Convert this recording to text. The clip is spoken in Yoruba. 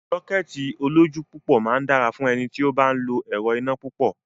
Sọ́kẹ́ẹ̀tì olójú púpọ̀ máa dára fún ẹni tí ó bá ń lo ẹrọ̀ iná púpọ̀.